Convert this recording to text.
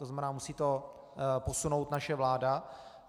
To znamená, musí to posunout naše vláda.